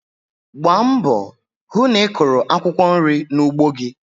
Gbaa mbọ hụ na ị kụrụ akwụkwọ nri n'ugbo gi.